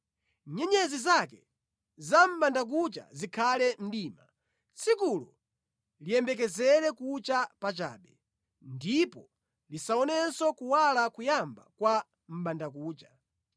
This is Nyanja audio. Nyenyezi zake za mʼbandakucha zikhale mdima; tsikulo liyembekezere kucha pachabe ndipo lisaonenso kuwala koyamba kwa mʼbandakucha.